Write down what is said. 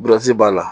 b'a la